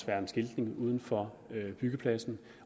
være en skiltning uden for byggepladsen